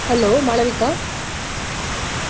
Hello Malavika.